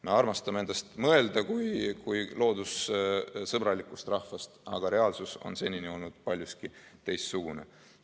Me armastame endast mõelda kui loodust armastavast rahvast, aga reaalsus on senini olnud paljuski teistsugune.